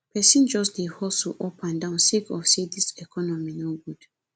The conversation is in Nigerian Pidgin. pesin just dey hustle up and down sake of sey dis economy no good